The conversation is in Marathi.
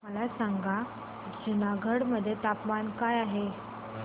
मला सांगा जुनागढ मध्ये तापमान काय आहे